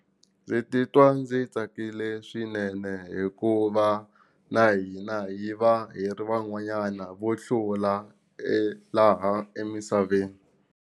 Ndzi titwa ndzi tsakile swinene hikuva na hina hi va hi ri van'wanyana vo hlula e laha emisaveni.